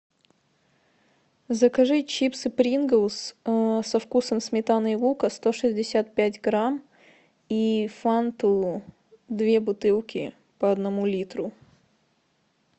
закажи чипсы принглс со вкусом сметаны и лука сто шестьдесят пять грамм и фанту две бутылки по одному литру